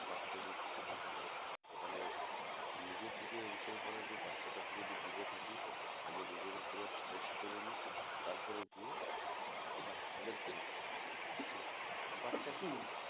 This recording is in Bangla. বাচ্চা যদি থাকে ঘরে তাহলে নিজের দিকে ensure করা যে বাচ্চা টা থেকে একটি দুরে থাকি আগে নিজেকে পুরো fresh করে নি তারপরে গিয়ে বাচ্চা কে ধরবো যে বাচ্চাকেও